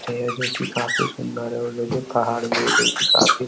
जो कि काफी सुंदर है और देखिए पहाड़ भी है जो कि काफी --